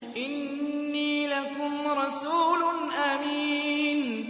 إِنِّي لَكُمْ رَسُولٌ أَمِينٌ